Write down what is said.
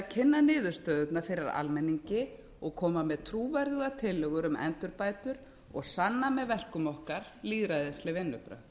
kynna niðurstöðurnar fyrir almenningi og koma með trúverðugar tillögur um endurbætur og sanna með verkum okkar lýðræðisleg vinnubrögð